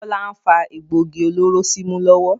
Bọlá ń fa egbògi olóró símú lọ́wọ́